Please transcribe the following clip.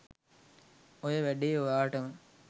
ඔය වැඩේ ඔයාටම